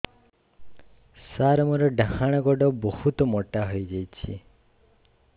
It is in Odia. ସାର ମୋର ଡାହାଣ ଗୋଡୋ ବହୁତ ମୋଟା ହେଇଯାଇଛି